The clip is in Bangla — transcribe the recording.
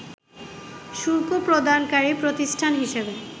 শুল্ক প্রদানকারী প্রতিষ্ঠান হিসেবে